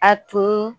A tun